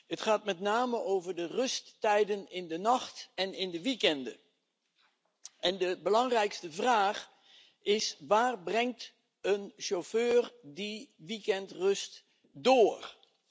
Het gaat met name over de rusttijden 's nachts en in de weekenden. De belangrijkste vraag is waar een chauffeur die weekendrust doorbrengt.